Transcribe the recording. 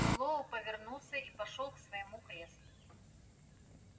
мэллоу повернулся и пошёл к своему креслу